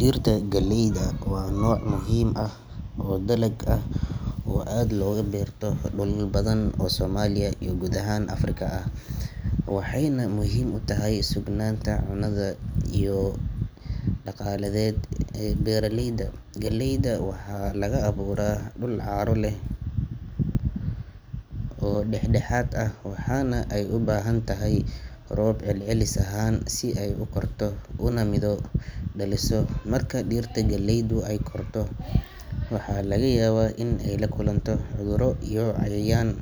Dhirta galeyda waa nooc muhiim ah oo dalag ah oo aad looga beerto dhulal badan oo Soomaaliya iyo guud ahaan Afrika ah, waxayna muhiim u tahay sugnaanta cunnada iyo il-dhaqaaleed ee beeraleyda. Galeyda waxaa laga beeraa dhul carro leh oo dhax-dhexaad ah, waxaana ay u baahan tahay roob celcelis ahaan ah si ay u korto una midho dhaliso. Marka dhirta galeydu ay korto, waxa laga yaabaa in ay la kulanto cudurro iyo cayayaan,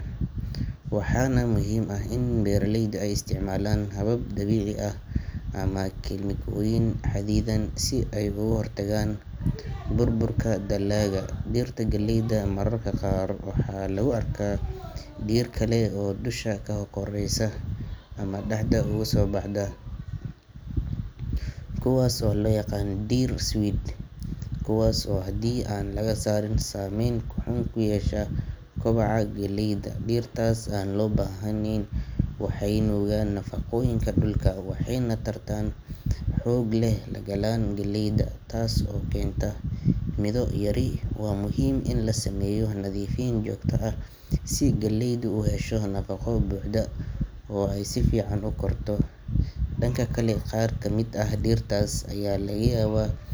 waxaana muhiim ah in beeraleydu ay isticmaalaan habab dabiici ah ama kiimikooyin xaddidan si ay uga hortagaan burburka dalagga. Dhirta galeyda mararka qaar waxaa lagu arkaa dhir kale oo dusha ka koreysa ama dhexda uga soo baxda, kuwaas oo loo yaqaan dhir weed, kuwaas oo haddii aan laga saarin saameyn xun ku yeesha kobaca galeyda. Dhirtaas aan loo baahnayn waxay nuugaan nafaqooyinka dhulka, waxayna tartan xoog leh la galaan galeyda, taas oo keenta midho yari. Waa muhiim in la sameeyo nadiifin joogto ah si galeydu u hesho nafaqo buuxda oo ay si fiican u korto. Dhanka kale, qaar ka mid ah dhirtaas ayaa laga yaabaa.